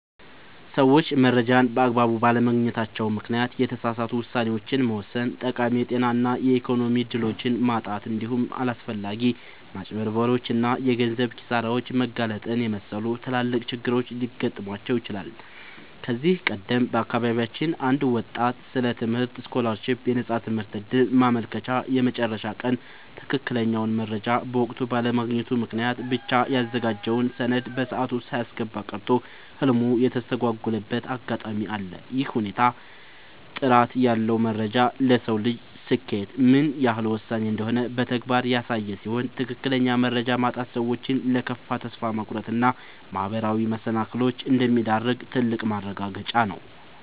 ሰዎች መረጃን በአግባቡ ባለማግኘታቸው ምክንያት የተሳሳቱ ውሳኔዎችን መወሰን፣ ጠቃሚ የጤና እና የኢኮኖሚ እድሎችን ማጣት፣ እንዲሁም ለአላስፈላጊ ማጭበርበሮች እና የገንዘብ ኪሳራዎች መጋለጥን የመሰሉ ትላልቅ ችግሮች ሊገጥሟቸው ይችላሉ። ከዚህ ቀደም በአካባቢያችን አንድ ወጣት ስለ ትምህርት ስኮላርሺፕ (የነፃ ትምህርት ዕድል) ማመልከቻ የመጨረሻ ቀን ትክክለኛውን መረጃ በወቅቱ ባለማግኘቱ ምክንያት ብቻ ያዘጋጀውን ሰነድ በሰዓቱ ሳያስገባ ቀርቶ ህልሙ የተስተጓጎለበት አጋጣሚ አለ። ይህ ሁኔታ ጥራት ያለው መረጃ ለሰው ልጅ ስኬት ምን ያህል ወሳኝ እንደሆነ በተግባር ያሳየ ሲሆን፣ ትክክለኛ መረጃ ማጣት ሰዎችን ለከፋ ተስፋ መቁረጥ እና ማህበራዊ መሰናክሎች እንደሚዳርግ ትልቅ ማረጋገጫ ነው።